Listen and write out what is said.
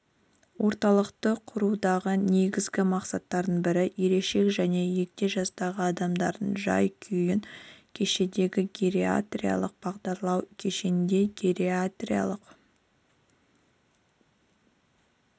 орталықты құрудағы негізгі мақсаттардың бірі ересек және егде жастағы адамдардың жай-күйін кешенді гериатриялық бағалау кешенді гериатриялық